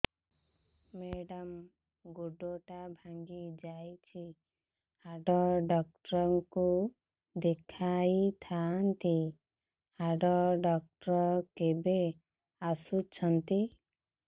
madam ଗୋଡ ଟା ଭାଙ୍ଗି ଯାଇଛି ହାଡ ଡକ୍ଟର ଙ୍କୁ ଦେଖାଇ ଥାଆନ୍ତି ହାଡ ଡକ୍ଟର କେବେ ଆସୁଛନ୍ତି